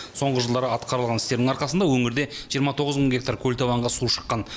соңғы жылдары атқарылған істердің арқасында өңірде жиырма тоғыз мың гектар көлтабанға су шыққан